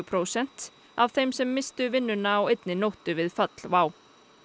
prósent af þeim sem misstu vinnuna á einni nóttu við fall WOW